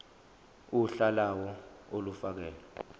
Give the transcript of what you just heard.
uhla lawo olufakelwe